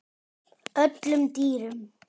öllum dýrum